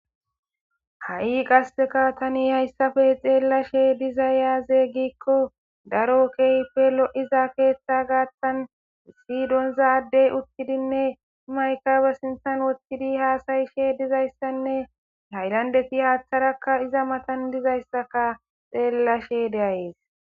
ha7i qaseka tani hayssafe xeellashe dizayaaze gikko daro keehippe lo7iza keeththa gaattan siyidonzaaddey uttidinne maykabe sintan wothtidi haasayishe dizayssanne haylandeti haaththarakka iza matan dizayssaka xeellashe deayees